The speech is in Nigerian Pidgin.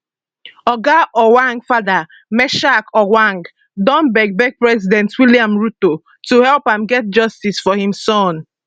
oga ojwang father meshack ojwang don beg beg president william ruto to help am get justice for im son